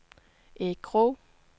Erik Krogh